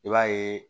I b'a ye